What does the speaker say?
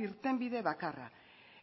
irtenbide bakarra